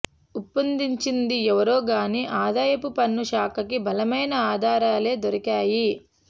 ఉప్పందించింది ఎవరో గాని ఆదాయపు పన్ను శాఖకి బలమైన ఆధారాలే దొరికాయి